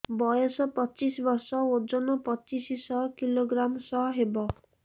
ବୟସ ପଚିଶ ବର୍ଷ ଓଜନ ପଚିଶ କିଲୋଗ୍ରାମସ ହବ